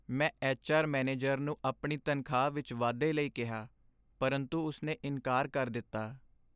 ਮੈਂ H R manager ਨੂੰ ਆਪਣੀ ਤਨਖ਼ਾਹ ਵਿੱਚ ਵਾਧੇ ਲਈ ਕਿਹਾ ਪਰੰਤੂ ਉਸਨੇ ਇਨਕਾਰ ਕਰ ਦਿੱਤਾ।